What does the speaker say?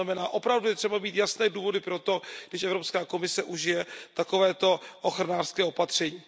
To znamená, opravdu je třeba mít jasné důvody pro to, když Evropská komise užije takovéto ochranářské opatření.